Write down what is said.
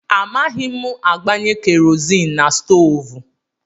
Amaghị m agbanye kerọzin na stoovú.